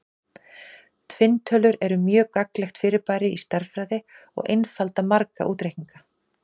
Tvinntölur eru mjög gagnlegt fyrirbæri í stærðfræði og einfalda marga útreikninga.